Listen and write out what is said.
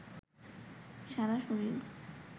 সারা শরীর